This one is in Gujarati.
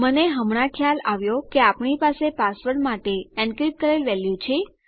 મને હમણાં ખ્યાલ આવ્યો કે આપણી પાસે પાસવર્ડ માટે એનક્રીપ્ટ કરેલ વેલ્યુ છે